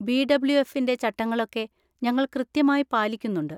B. W. എഫിൻ്റെ ചട്ടങ്ങളൊക്കെ ഞങ്ങൾ കൃത്യമായി പാലിക്കുന്നുണ്ട്.